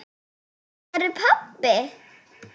Hvar er pabbi?